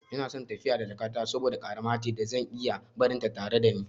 Ina son tafiya da jakata saboda ƙarama ce da zan iya barinta tare da ni.